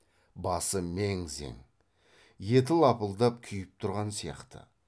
басы мең зең еті лапылдап күйіп тұрған сияқты